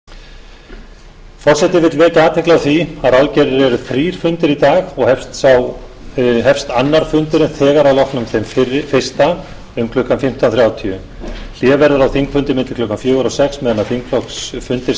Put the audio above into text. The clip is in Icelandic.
forseti vill vekja athygli á því að ráðgerðir eru þrír fundir í dag og hefst annar fundurinn þegar að loknum þeim fyrsta um klukkan fimmtán þrjátíu hlé verður á þingfundi milli klukkan fjögur og sex meðan þingflokksfundir